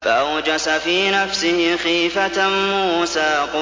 فَأَوْجَسَ فِي نَفْسِهِ خِيفَةً مُّوسَىٰ